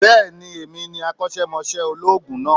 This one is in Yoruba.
Bẹ́ẹ̀ni èmi ní akósémosé olóòògùn náà